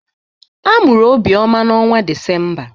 A mụrụ Obioma n'ọnwa Disemba.